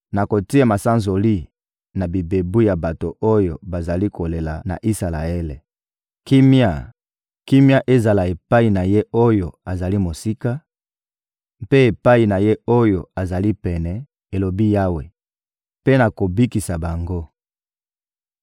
Nakotia masanzoli na bibebu ya bato oyo bazali kolela na Isalaele. Kimia, kimia ezala epai na ye oyo azali mosika, mpe epai na ye oyo azali pene,» elobi Yawe. «Mpe nakobikisa bango.»